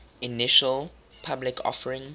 initial public offering